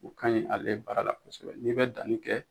O ka ɲi ale baara la kosɛbɛ n'i bɛ danni kɛ